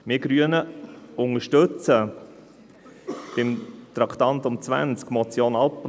Wir Grünen unterstützen die Motion Abplanalp unter Traktandum 20.